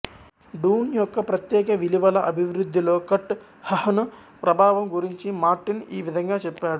డూన్ యొక్క ప్రత్యేక విలువల అభివృద్ధిలో కర్ట్ హహ్న్ ప్రభావం గురించి మార్టిన్ ఈ విధంగా చెప్పాడు